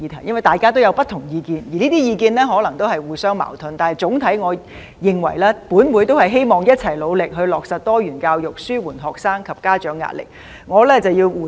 雖然大家都有不同意見，而這些意見可能都是互相矛盾的，但總體來說，我認為議員都希望一起努力"落實多元教育紓緩學生及家長壓力"。